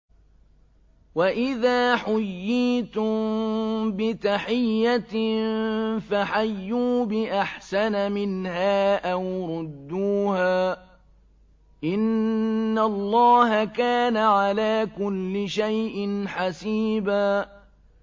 وَإِذَا حُيِّيتُم بِتَحِيَّةٍ فَحَيُّوا بِأَحْسَنَ مِنْهَا أَوْ رُدُّوهَا ۗ إِنَّ اللَّهَ كَانَ عَلَىٰ كُلِّ شَيْءٍ حَسِيبًا